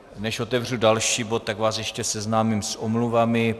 Než otevřu další bod, tak vás ještě seznámím s omluvami.